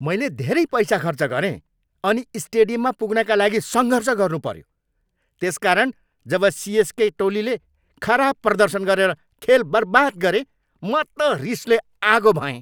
मैले धेरै पैसा खर्च गरेँ अनि स्टेडियममा पुग्नका लागि सङ्घर्ष गर्नुपऱ्यो। त्यसकारण, जब सिएसके टोलीले खराब प्रदर्शन गरेर खेल बर्बाद गरे, म त रिसले आगो भएँ।